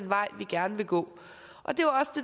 vej vi gerne vil gå og det